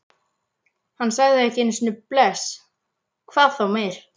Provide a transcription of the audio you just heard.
Hann sagði ekki einu sinni bless, hvað þá meir.